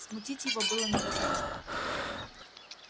смутить его было невозможно